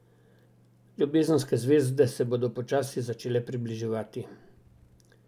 Ljubezenske zvezde se bodo počasi začele približevati.